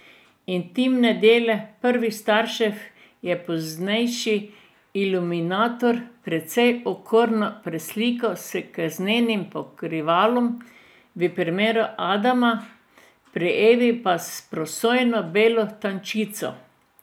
Intimne dele prvih staršev je poznejši iluminator precej okorno preslikal s krznenim pokrivalom v primeru Adama, pri Evi pa s prosojno belo tančico.